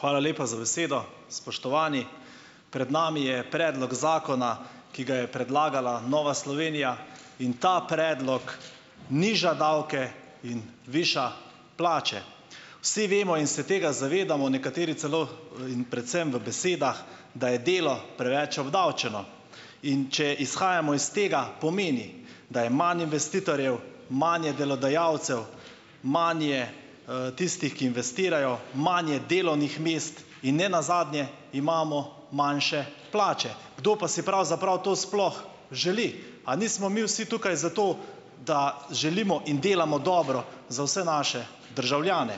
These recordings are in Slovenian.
Hvala lepa za besedo. Spoštovani! Pred nami je predlog zakona, ki ga je predlagala Nova Slovenija. In ta predlog niža davke in viša plače. Vsi vemo in se tega zavedamo, nekateri celo, in predvsem v besedah, da je delo preveč obdavčeno. In če izhajamo iz tega, pomeni, da je manj investitorjev, manj je delodajalcev, manj je, tistih, ki investirajo, manj je delovnih mest in ne nazadnje, imamo manjše plače. Kdo pa si pravzaprav to sploh želi? A nismo mi vsi tukaj zato, da želimo in delamo dobro za vse naše državljane?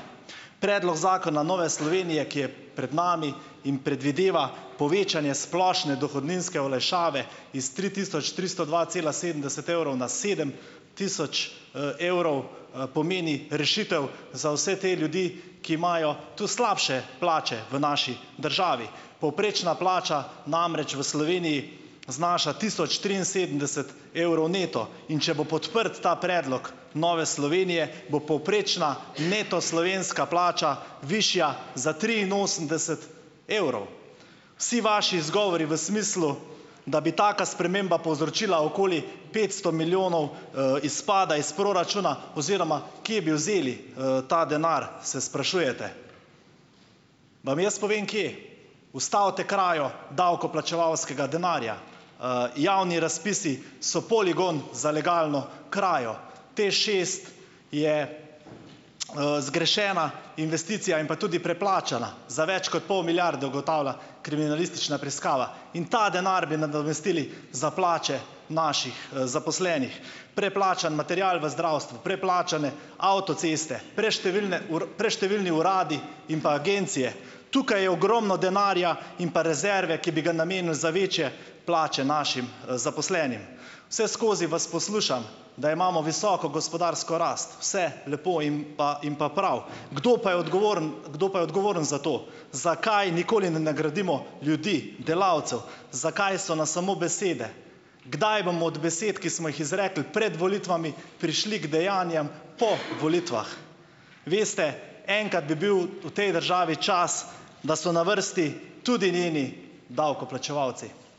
Predlog zakona Nove Slovenije, ki je pred nami in predvideva povečanje splošne dohodninske olajšave iz tri tisoč tristo dva cela sedemdeset evrov na sedem tisoč, evrov, pomeni rešitev za vse te ljudi, ki imajo tudi slabše plače v naši državi. Povprečna plača namreč v Sloveniji znaša tisoč triinsedemdeset evrov neto. In če bo podprt ta predlog Nove Slovenije, bo povprečna slovenska plača neto višja za triinosemdeset evrov. Vsi vaši izgovori v smislu, da bi taka sprememba povzročila okoli petsto milijonov, izpada iz proračuna, oziroma kje bi vzeli, ta denar, se sprašujete. Vam jaz povem, kje - ustavite krajo davkoplačevalskega denarja! Javni razpisi so poligon za legalno krajo. TEŠ šest je, zgrešena investicija in pa tudi preplačana za več kot pol milijarde, ugotavlja kriminalistična preiskava. In ta denar bi nadomestili za plače naših, zaposlenih. Preplačan material v zdravstvu, preplačane avtoceste, preštevilne preštevilni uradi in pa agencije - tukaj je ogromno denarja in pa rezerve, ki bi ga namenili za večje plače našim, zaposlenim. Vseskozi vas poslušam, da imamo visoko gospodarsko rast. Vse lepo in pa in pa prav, kdo pa je odgovoren, kdo pa je odgovoren za to? Zakaj nikoli ne nagradimo ljudi, delavcev, zakaj so nas samo besede? Kdaj bomo od besed, ki smo jih izrekli pred volitvami, prešli k dejanjem po volitvah? Veste, enkrat bi bil v tej državi čas, da so na vrsti tudi njeni davkoplačevalci.